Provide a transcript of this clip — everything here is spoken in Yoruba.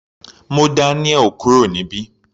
Mú Daniel kúrò níbí.